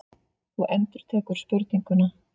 Þú endurtekur spurninguna.